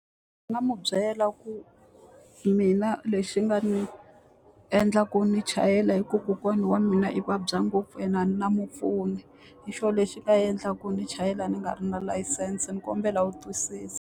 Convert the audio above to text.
Nga n'wi byela ku mina lexi nga ni endla ku ni chayela hikuva kokwana wa mina i vabya ngopfu ene a na mupfuni. Hi xona lexi nga endla ku ni chayela ni nga ri na layisense, ni kombela u twisisa.